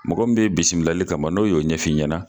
Mɔgɔ min bɛ yen bisimilali kama n'o y'o ɲɛfɔ i ɲɛna